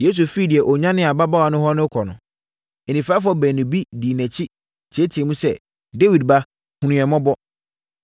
Yesu firi deɛ ɔnyanee ababaawa no hɔ rekɔ no, anifirafoɔ baanu bi dii nʼakyi teateaam sɛ, “Dawid ba, hunu yɛn mmɔbɔ!”